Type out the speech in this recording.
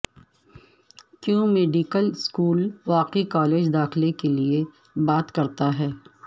کیوں medical school واقعی college داخلے کے لئے بات کرتا ہے